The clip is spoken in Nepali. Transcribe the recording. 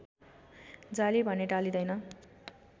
जाली भने टालिँदैन